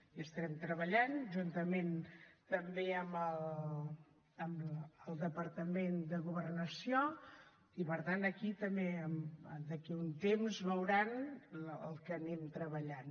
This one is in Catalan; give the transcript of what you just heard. hi estem treballant juntament també amb el departament de governació i per tant aquí també d’aquí un temps veuran el que anem treballant